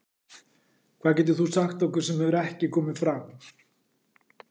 Hvað getur þú sagt okkur sem hefur ekki komið fram?